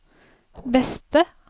beste